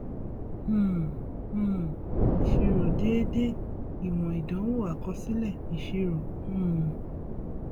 um um ìṣirò déédé ìwòn ìdánwò àkọsílẹ ìṣirò um